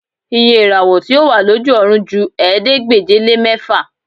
Iye ìràwọ̀ tí ó wà lójú ọ̀run ju ẹ̀ẹ́dégbèje-lé-mẹ́fà